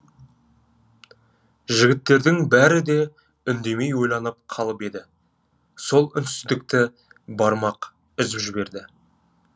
жігіттердің бәрі де үндемей ойланып қалып еді сол үнсіздікті бармақ үзіп жіберді